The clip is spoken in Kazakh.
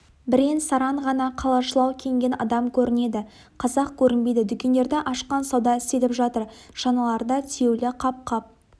бірен-саран ғана қалашылау киінген адам көрінеді қазақ көрінбейді дүкендерді ашқан сауда істеліп жатыр шаналарда тиеулі қап-қап